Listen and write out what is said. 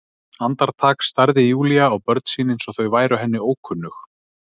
Andartak starði Júlía á börn sín eins og þau væru henni ókunnug.